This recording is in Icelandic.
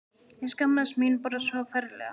Ég skammaðist mín bara svo ferlega.